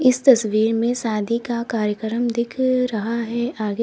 इस तस्वीर में सादी का कार्यक्रम दिख रहा है आगे।